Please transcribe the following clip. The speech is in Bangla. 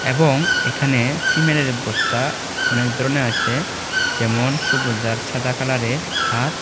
এবং এখানে সিমেনের বস্তা অনেক ধরনের আছে যেমন সবুজ আর ছাদা কালারের আর--